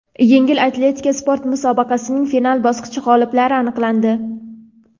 "Yengil atletika" sport musobaqasining final bosqichi g‘oliblari aniqlandi.